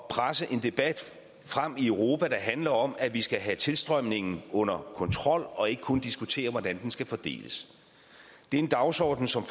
presse en debat frem i europa der handler om at vi skal have tilstrømningen under kontrol og ikke kun diskutere hvordan de skal fordeles det er en dagsorden som